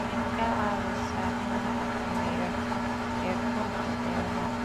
Waxay ka caawisaa in la xakameeyo heerkulka beeraha.